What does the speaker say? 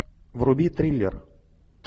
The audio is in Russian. вруби триллер